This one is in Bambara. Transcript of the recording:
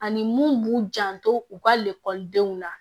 Ani mun b'u janto u ka lakɔlidenw la